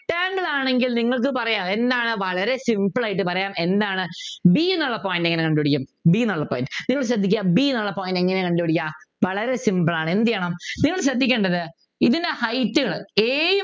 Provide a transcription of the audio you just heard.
rectangle ആണെങ്കിൽ നിങ്ങക്ക് പറയാം എന്താണ് വളരെ simple ആയിട്ട് പറയാം എന്താണ് b ന്നുള്ള point എങ്ങനെ കണ്ടുപിടിക്കും b ന്നുള്ള point നിങ്ങള് ശ്രദ്ധിക്കാ b ന്നുള്ള point എങ്ങനെ കണ്ടുപിടിക്ക വളരെ simple ആണ് എന്ത് ചെയ്യണം നിങ്ങള് ശ്രദ്ധിക്കേണ്ടത് ഇതിൻ്റെ height കൾ a